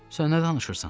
Sən nə danışırsan?